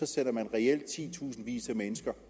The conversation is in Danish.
sætter man reelt titusindvis af mennesker